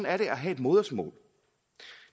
er det at have et modersmål